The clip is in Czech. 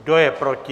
Kdo je proti?